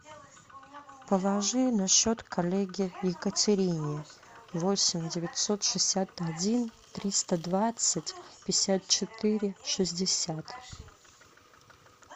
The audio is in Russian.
положи на счет коллеге екатерине восемь девятьсот шестьдесят один триста двадцать пятьдесят четыре шестьдесят